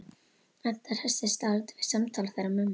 Edda hressist dálítið við samtal þeirra mömmu.